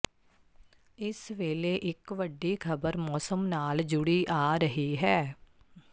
ਇਸ ਵੇਲੇ ਇੱਕ ਵੱਡੀ ਖ਼ਬਰ ਮੌਸਮ ਨਾਲ ਜੁੜੀ ਆ ਰਹੀ ਹੈ